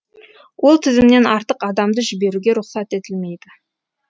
ол тізімнен артық адамды жіберуге рұқсат етілмейді